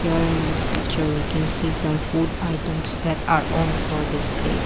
here in this picture we can see some food items step around for display.